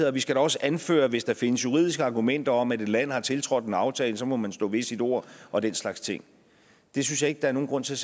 og vi skal da også anføre hvis der findes juridiske argumenter om et land har tiltrådt en aftale må man stå ved sit ord og den slags ting det synes jeg ikke der er nogen grund til